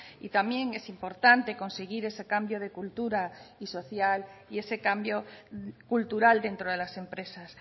y también es importante conseguir ese cambio de cultura y social y ese cambio cultural dentro de las empresas